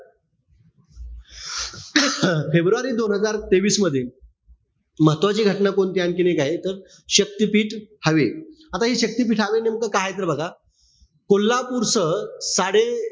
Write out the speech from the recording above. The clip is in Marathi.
फेब्रुवारी दोन हजार तेवीस मध्ये, महत्वाची घटना कोणतीय आणखीन एक आहे. तर शक्तीपीठ हवे. आता हे शक्तीपीठ हवे नेमकं काय? तर बघा, कोल्हापूर सह साडे,